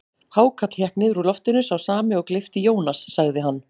Hákarl hékk niður úr loftinu, sá sami og gleypti Jónas, sagði hann.